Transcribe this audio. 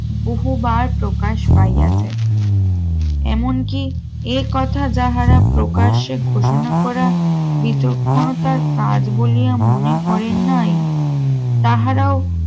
বহুবার প্রকাশ পাই আছে এমনকি এ কথা যাহারা প্রকাশ্যে ঘোষণা করা বিচক্ষণতার কাজ বলিয়া মনে করেন নাই তাহারা